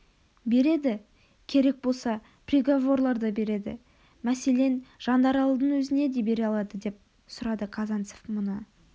береді керек болса приговорлар да береді мәселен жандаралдың өзіне де бере алада деп сұрады казанцев мұны